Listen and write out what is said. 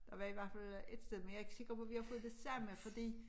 Og hvad det var for noget et sted men jeg er ikke sikker på vi har fået det samme fordi